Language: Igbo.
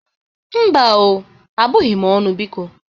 Mba o, abụghị m ọnụ, biko.